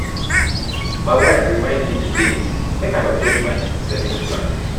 my wife remind me today make i update my savings plan